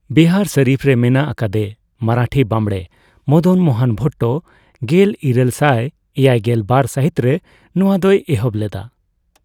ᱵᱤᱦᱟᱨ ᱥᱚᱨᱤᱯᱷᱨᱮ ᱢᱮᱱᱟᱜ ᱟᱠᱟᱫᱮ ᱢᱟᱨᱟᱴᱷᱤ ᱵᱟᱢᱲᱮ ᱢᱚᱫᱚᱱ ᱢᱳᱦᱚᱱ ᱵᱷᱚᱴᱴᱚ ᱜᱮᱞᱤᱨᱟᱹᱞ ᱥᱟᱭ ᱮᱭᱟᱭᱜᱮᱞ ᱵᱟᱨ ᱥᱟᱦᱤᱛᱨᱮ ᱱᱚᱣᱟ ᱫᱚᱭ ᱮᱦᱚᱵ ᱞᱮᱫᱟ ᱾